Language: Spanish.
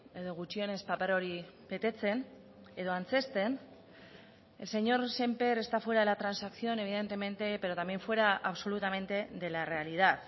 edo gutxienez paper hori betetzen edo antzezten el señor sémper está fuera de la transacción evidentemente pero también fuera absolutamente de la realidad